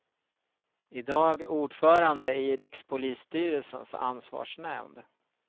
I dag ordförande i rikspolisstyrelsens ansvarsnämnd.